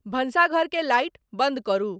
भंशाघर के लाइट बंद करु